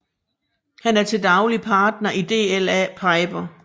Han er til dagligt partner i DLA Piper